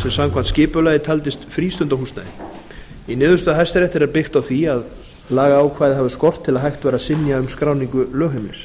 sem samkvæmt skipulagi taldist frístundahúsnæði í niðurstöðu hæstaréttar er byggt á því að lagaákvæði afi skort til að hægt væri að synja um skráningu lögheimilis